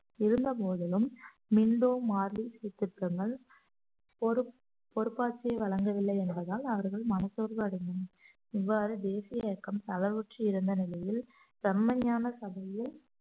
இருந்த போதிலும் Minto Morley சீர்த்திருத்தங்கள் பொறுப்~ பொறுப்பாட்சியை வழங்கவில்லை என்பதால் அவர்கள் மனசோர்வு அடைந்தனர் இவ்வாறு தேசிய இயக்கம் தளவுற்று இருந்த நிலையில் செம்மையான சபையில்